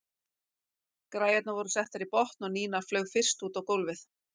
Græjurnar voru settar í botn og Nína flaug fyrst út á gólfið.